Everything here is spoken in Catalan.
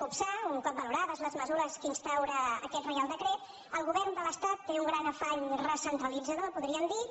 copsar un cop valorades les mesures que instaura aquest reial decret el govern de l’estat té un gran afany recentralitzador podríem dir ne